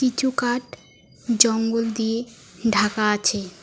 চৌকাঠ জঙ্গল দিয়ে ঢাকা আছে।